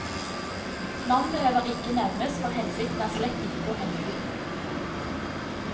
Navn behøver ikke nevnes, for hensikten er slett ikke å henge ut noen.